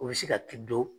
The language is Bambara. O bɛ se ka t'i don